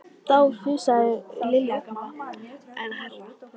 Þá fussaði Lilja gamla enn hærra.